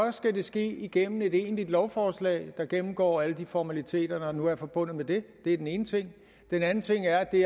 det ske igennem et egentligt lovforslag der gennemgår alle de formaliteter der nu er forbundet med det det er den ene ting den anden ting er at det